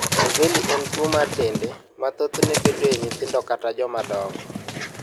Mibelli en tuwo mar dende ma thothne bedoe e nyithindo kata jomadongo.